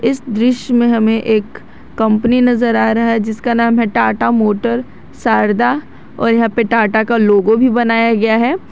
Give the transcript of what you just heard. इस दृश्य में हमें एक कंपनी नजर आ रहा है जिसका नाम है टाटा मोटर शारदा और यहां पर टाटा का लोगो भी बनाया गया है।